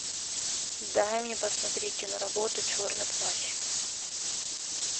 дай мне посмотреть киноработу черный плащ